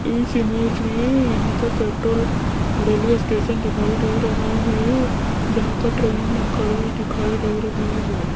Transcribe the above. इस इमेज मे यहां पर पेट्रोल और रेलवे स्टेशन दिखाई दे रहा है जहां पर ट्रेन खड़ी दिखाई दे रही है।